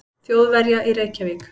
Þjóðverja í Reykjavík.